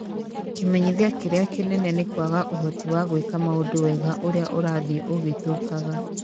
Kĩmenyithia kĩrĩa kĩnene nĩ kwaga ũhoti wa gwĩka maũndũ wega ũrĩa ũrathiĩ ũgĩthukaga.